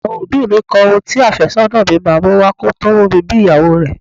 Àwọn òbí mi kọ ohun tí afésónà mi máa mú wá kò tó mú mi bí ìyàwó rẹ.